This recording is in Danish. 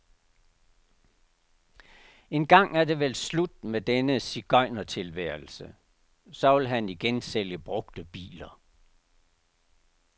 Engang er det vel slut med denne sigøjnertilværelse, så vil han igen sælge brugte biler.